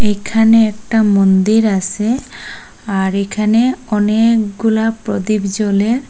এইখানে একটা মন্দির আসে আর এখানে অনেকগুলা প্রদীপ জ্বলে।